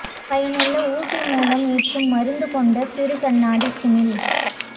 பயனுள்ள ஊசி மூலம் ஏற்றும் மருந்து கொண்ட சிறு கண்ணாடிச் சிமிழ்